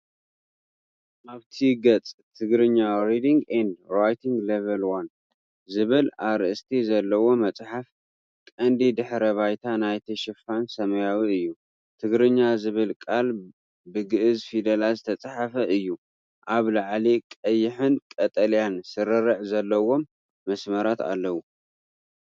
ኣብቲ ገጽ "TIGRIGNA Reading & Writing Level 1" ዝብል ኣርእስቲ ዘለዎ መጽሓፍ። ቀንዲ ድሕረ ባይታ ናይቲ ሽፋን ሰማያዊ እዩ። "ትግርኛ" ዝብል ቃል ብገዕዝ ፊደላት ዝተጻሕፈ እዩ። ኣብ ላዕሊ ቀይሕን ቀጠልያን ስርርዕ ዘለዎም መስመራት ኣለዉ።